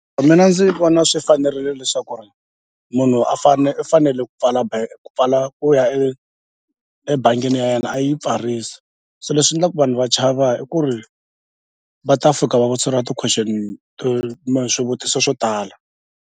Mina ndzi vona swi fanerile leswaku munhu a fane u fanele ku pfala pfala ku ya ebangini ya yena a yi pfarisa so leswi endlaka ku vanhu va chava i ku ri va ta fika va vutiseriwa ti-question swivutiso swo tala.